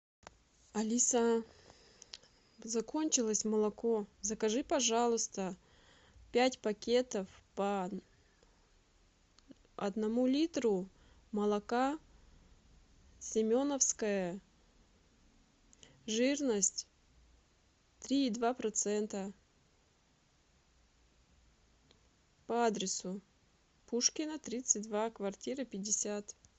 алиса закончилось молоко закажи пожалуйста пять пакетов по одному литру молока семеновское жирность три и два процента по адресу пушкина тридцать два квартира пятьдесят